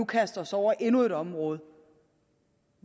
kaste os over endnu et område